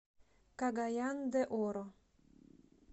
кагаян де оро